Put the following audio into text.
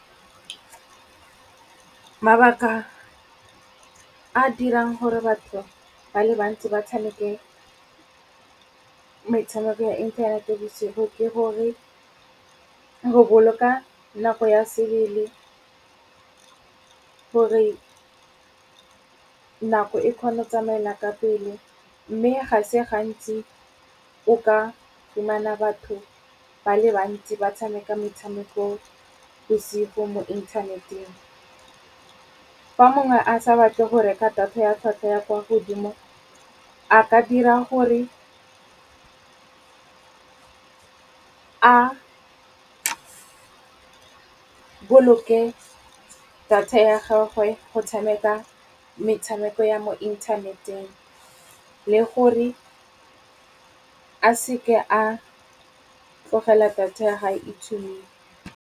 Mabaka a dirang gore batho ba le bantsi ba tshameke metshameko ya inthanete bosigo ke gore go boloka nako ya sebele, gore nako e kgone go tsamaela ka pele. Mme ga se gantsi o ka fumana batho ba le bantsi ba tshameka metshameko bosisgo mo inthaneteng. Fa mongwe a sa batle go reka data ya tlwatlhwa ya kwa godimo, a ka dira gore a boloke data ya gagwe go tshameka metshameko ya mo inthaneteng le gore a seke a tlogela data ya hae e tshumilwe.